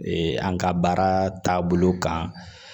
an ka baara taabolo kan